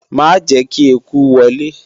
Ma jẹ́ ​​kí eku wọlé!